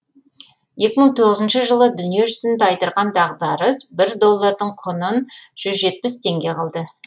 екі мың тоғызыншы жылы дүниежүзін тайдырған дағдарыс бір доллардың құннын жүз жетпіс теңге қылды